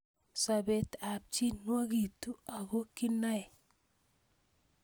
Sobet ab chii nwag'tu ako kinae